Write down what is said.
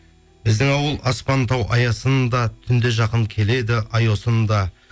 біздің ауыл аспан тау аясында түнде жақын келеді ай осында